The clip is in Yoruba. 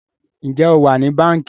Njé o wá ní Bánkì?